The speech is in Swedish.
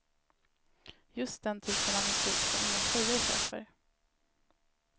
Just den typen av musik som inga tjejer köper.